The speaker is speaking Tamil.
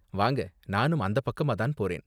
வாங்க, நானும் அந்த பக்கமா தான் போறேன்.